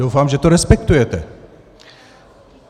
Doufám, že to respektujete.